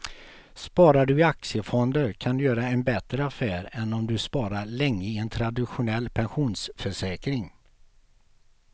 Sparar du i aktiefonder kan du göra en bättre affär än om du sparar länge i en traditionell pensionsförsäkring.